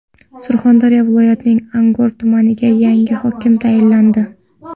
Surxondaryo viloyatining Angor tumaniga yangi hokim tayinlandi.